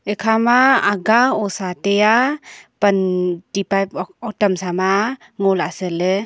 ekha ma aga osa tai a pan ti pipe hotam sa ma a ngo lah se ley.